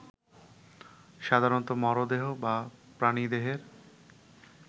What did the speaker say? সাধারণত মরদেহ বা প্রাণীদেহের